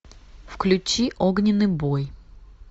включи огненный бой